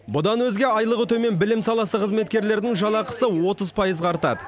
бұдан өзге айлығы төмен білім саласы қызметкерлерінің жалақысы отыз пайызға артады